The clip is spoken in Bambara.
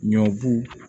Ɲɔbu